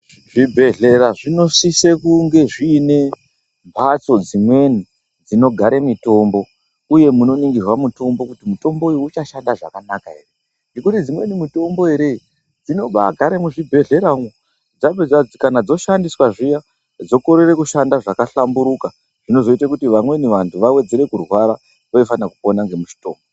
Zvibhedhlera zvinosise kunge zviine mhatso dzimweni dzinogare mitombo uye munoningirwe mutombo kuti mutombo uyu uchashanda zvakanaka here, ngekuti dzimweni mutombo ere dzinobagare mizvibhedhlera umo dzapedza kana dzoshandiswa zviya dzokorere kushanda zvakahlamburuka zvinozoite kuti vamweni vantu vawedzere kurwara vaifana kupona ngemutombo.